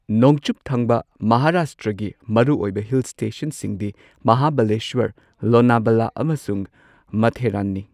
ꯅꯣꯡꯆꯨꯞꯊꯪꯕ ꯃꯍꯥꯔꯥꯁꯇ꯭ꯔꯒꯤ ꯃꯔꯨꯑꯣꯏꯕ ꯍꯤꯜ ꯁ꯭ꯇꯦꯁꯟꯁꯤꯡꯗꯤ ꯃꯍꯥꯕꯥꯂꯦꯁ꯭ꯋꯔ, ꯂꯣꯅꯥꯕꯂꯥ, ꯑꯃꯁꯨꯡ ꯃꯊꯦꯔꯥꯟꯅꯤ꯫